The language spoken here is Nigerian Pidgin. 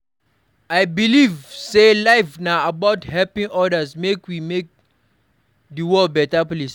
I believe sey life na about helping odas make we make di world beta place.